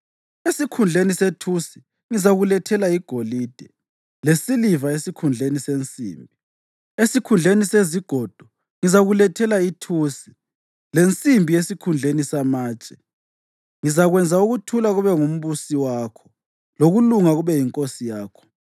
Esikhundleni sethusi ngizakulethela igolide, lesiliva esikhundleni sensimbi. Esikhundleni sezigodo ngizakulethela ithusi, lensimbi esikhundleni samatshe. Ngizakwenza ukuthula kube ngumbusi wakho, lokulunga kube yinkosi yakho.